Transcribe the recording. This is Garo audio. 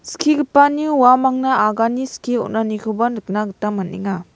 skigipani uamangna agane skie on·anikoba nikna gita man·enga.